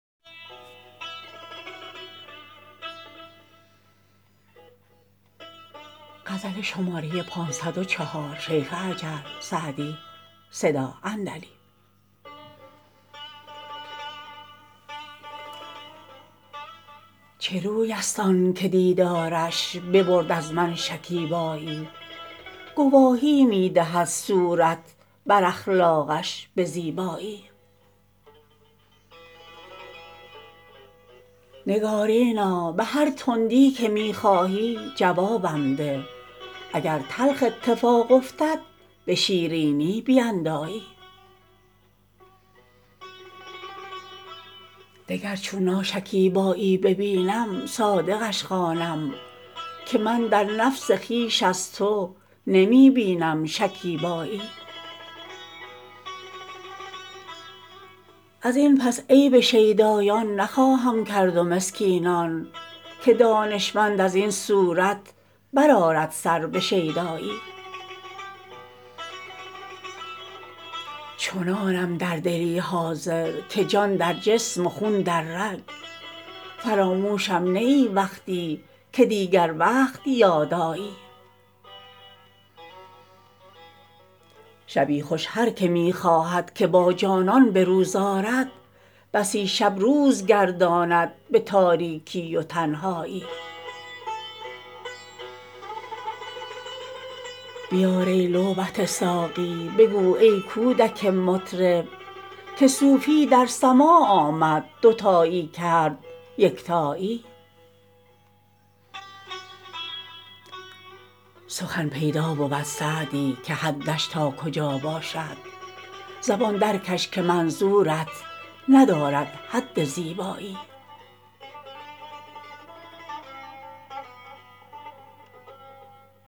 چه روی است آن که دیدارش ببرد از من شکیبایی گواهی می دهد صورت بر اخلاقش به زیبایی نگارینا به هر تندی که می خواهی جوابم ده اگر تلخ اتفاق افتد به شیرینی بیندایی دگر چون ناشکیبایی ببینم صادقش خوانم که من در نفس خویش از تو نمی بینم شکیبایی از این پس عیب شیدایان نخواهم کرد و مسکینان که دانشمند از این صورت بر آرد سر به شیدایی چنانم در دلی حاضر که جان در جسم و خون در رگ فراموشم نه ای وقتی که دیگر وقت یاد آیی شبی خوش هر که می خواهد که با جانان به روز آرد بسی شب روز گرداند به تاریکی و تنهایی بیار ای لعبت ساقی بگو ای کودک مطرب که صوفی در سماع آمد دوتایی کرد یکتایی سخن پیدا بود سعدی که حدش تا کجا باشد زبان درکش که منظورت ندارد حد زیبایی